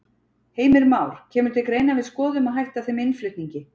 Heimir Már: Kemur til greina að við skoðum að hætta þeim innflutningi?